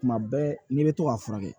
Tuma bɛɛ n'i bɛ to k'a furakɛ